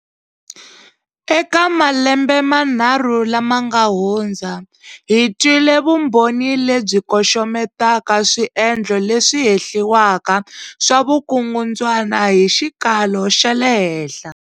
Eka malembe manharhu lama nga hundza, hi twile vumbhoni lebyi koxometaka swiendlo leswi hehliwaka swa vukungundzwana hi xikalo xa le henhla.